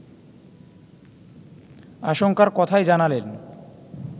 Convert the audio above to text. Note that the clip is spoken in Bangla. আশঙ্কার কথাই জানালেন